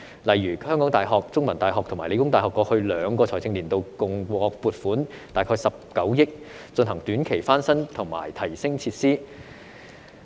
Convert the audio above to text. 例如香港大學、香港中文大學和香港理工大學過去兩個財政年度，共獲撥款大概19億元，進行短期翻新及提升設施。